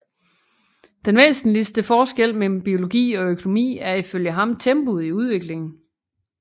Den væsentligste forskel mellem biologi og økonomi er ifølge ham tempoet i udviklingen